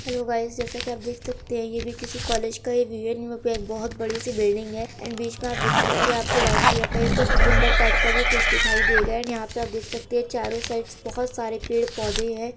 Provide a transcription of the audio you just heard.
Hello guys जैसे की आप देख सकते है ये भी किसी कॉलेज का ही व्यू है बहुत बड़ी सी बिल्डिंग है एण्ड बीच मे आप देख सकते है आपको व्हाइट कलर का एक गुम्बद टाइप का भी कुछ दिखाई देगा एण्ड यहां पे आप देख सकते है चारों साइड बहुत सारे पेड़-पौधे है।